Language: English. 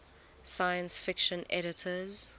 science fiction editors